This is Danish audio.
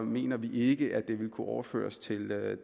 mener vi ikke at det vil kunne overføres til